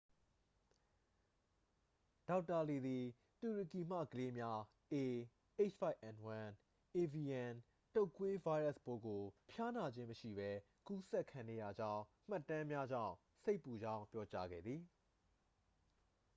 ဒေါက်တာလီသည် တူရကီမှကလေးများ ah၅n၁ အေဗီယန် တုတ်ကွေး ဗိုင်းရပ်စ်ပိုးကို ဖျားနာခြင်းမရှိပဲ ကူးစက်ခံနေရကြောင်း မှတ်တမ်းများကြောင့် စိတ်ပူကြောင်းပြောကြားခဲ့သည်။